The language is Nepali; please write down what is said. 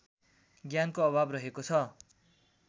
ज्ञानको अभाव रहेको छ